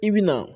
I bi na